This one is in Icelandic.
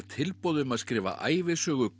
tilboð um að skrifa ævisögu